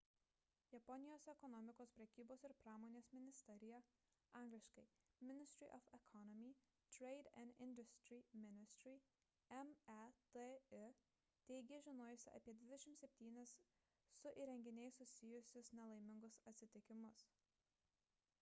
japonijos ekonomikos prekybos ir pramonės ministerija angl. ministry of economy trade and industry ministry meti teigė žinojusi apie 27 su įrenginiais susijusius nelaimingus atsitikimus